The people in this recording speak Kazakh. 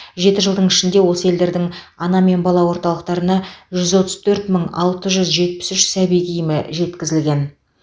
жеті жылдың ішінде осы елдердің ана мен бала орталықтарына жүз отыз төрт мың алты жүз жетпіс үш сәби киімі жеткізілген